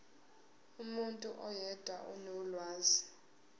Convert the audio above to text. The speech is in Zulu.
umuntu oyedwa onolwazi